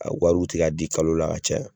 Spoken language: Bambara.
ko hali u tɛka di kalo la ka caya.